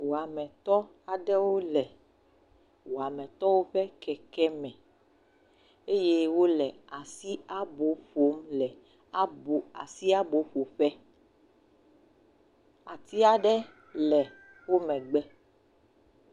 Wɔametɔ aɖewo le wɔametɔwo ƒe kekeme eye wole asiabo ƒom le abo, asi abo ƒo ƒe. Ati aɖe le wo megbe.